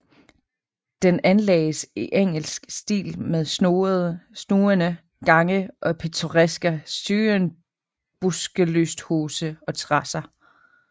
Den anlagdes i engelsk stil med snoende gange og pittoreska syrenbuskelysthuse og terasser